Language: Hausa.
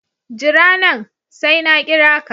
Jira nan, sai na kira ka